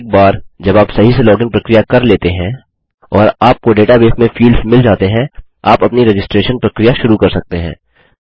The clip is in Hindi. एक बार जब आप सही से लॉगिन प्रक्रिया कर लेते हैं और आपको डेटाबेस में फील्ड्स मिल जाते हैं आप अपनी रजिस्ट्रैशन प्रक्रिया शुरू कर सकते हैं